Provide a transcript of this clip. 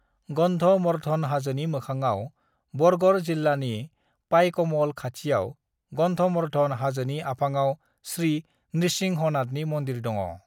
गन्धमर्धन हाजोनि मोखाङाव बरगर जिल्लानि पाइकमल खाथियाव गन्धमर्धन हाजोनि आफाङाव श्री नृसिंहनाथनि मन्दिर दङ।